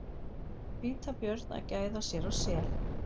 Hvítabjörn að gæða sér á sel.